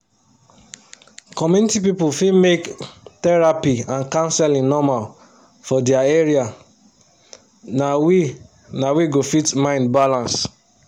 community people fit make therapy and counseling normal for their area na we na we go fit mind balance